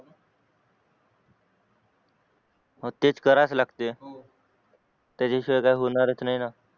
मग तेच कराच लागते त्याच्याशिवाय काही होणारच नाही ना